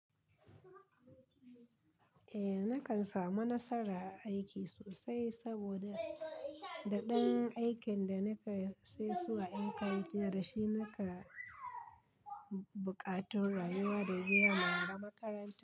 Eh, na kan samu nasara a aiki sosai saboda da ɗan aikin da na ka sesu a ƴinka aiki da shi na ka buƙatar rayuwa da giya mara makaranta.